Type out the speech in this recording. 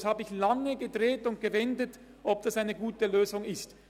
Ich habe es lange gedreht und gewendet und mich gefragt, ob dies eine gute Lösung ist.